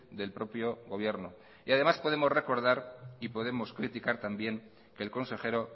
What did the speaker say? del propio gobierno y además podemos recordar y podemos criticar también que el consejero